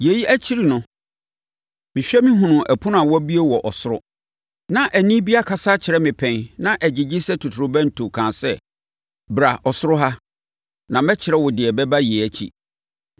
Yei akyiri no, mehwɛ mehunuu ɛpono a abue wɔ ɔsoro. Na ɛnne bi akasa akyerɛ me pɛn na ɛgyegye sɛ totorobɛnto kaa sɛ, “Bra ɔsoro ha, na mɛkyerɛ wo deɛ ɛbɛba yei akyi.”